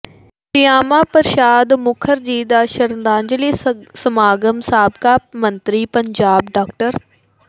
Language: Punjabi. ਸ਼ਿਆਮਾ ਪ੍ਰਸ਼ਾਦ ਮੁਖਰਜੀ ਦਾ ਸ਼ਰਧਾਂਜਲੀ ਸਮਾਗਮ ਸਾਬਕਾ ਮੰਤਰੀ ਪੰਜਾਬ ਡਾ